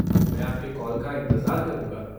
मैं आपके कॉल का इंतज़ार करूँगा।